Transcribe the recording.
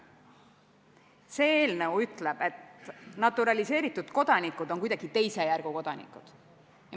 See eelnõu ütleb, et naturaliseeritud kodanikud on kuidagi teise järgu kodanikud.